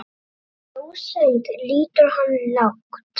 Í rósemd lýtur hann lágt.